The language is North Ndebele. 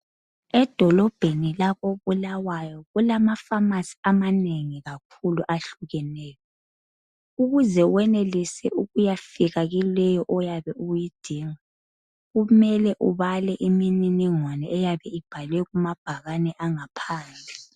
Edolobheni lakoBulawayo kulamapharmacy amanengi kakhulu ahlukeneyo. Ukuze wenelise ukuyafika kuleyo oyabe uyidinga kumele ubale imininingwano eyabe ibhalwe kumabhane angaphandle.